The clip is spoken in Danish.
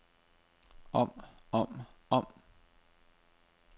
om om om